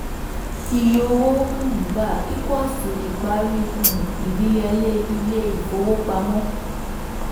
iye owó um gbà equals to ìparí um ìdíyẹlé ilé-ìfowópamọ́